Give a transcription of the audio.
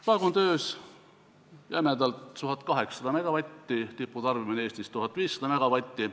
Praegu on töös jämedalt võttes 1800 megavatti, tiputarbimine Eestis on 1500 megavatti.